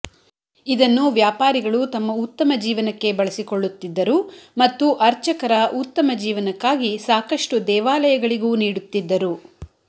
ಇದನ್ನು ವ್ಯಾಪಾರಿಗಳು ತಮ್ಮ ಉತ್ತಮ ಜೀವನಕ್ಕೆ ಬಳಸಿಕೊಳ್ಳುತ್ತಿದ್ದರು ಮತ್ತು ಅರ್ಚಕರ ಉತ್ತಮ ಜೀವನಕ್ಕಾಗಿ ಸಾಕಷ್ಟು ದೇವಾಲಯಗಳಿಗೂ ನೀಡುತ್ತಿದ್ದರು